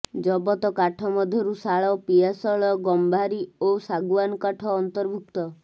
ଜବତ କାଠ ମଧ୍ୟରୁ ଶାଳ ପିଆଶାଳ ଗମ୍ଭାରୀ ଓ ଶାଗୁଆନ କାଠ ଅନ୍ତର୍ଭୁକ୍ତ